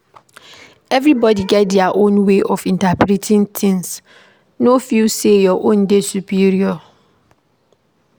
Everybody get their own way of interpreting things, no feel sey your own dey superior.